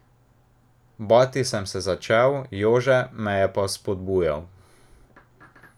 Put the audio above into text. Bati sem se začel, Jože me je pa vzpodbujal.